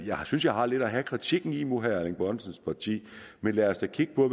synes jeg har lidt at have kritikken i mod herre erling bonnesens parti men lad os da kigge på